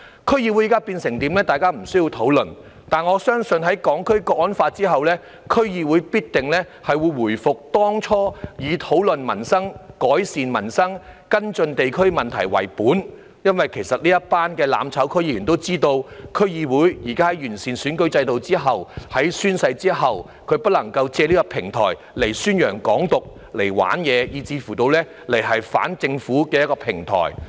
區議會現時的狀況，大家不需要討論，但我相信在實施《香港國安法》後，區議會必定會回復正常，以討論民生、改善民生、跟進地區問題為本，因為這幫"攬炒"區議員也知道，在現時完善選舉制度和宣誓之後，他們不能夠借區議會此平台宣揚"港獨"、"玩嘢"，以至反政府。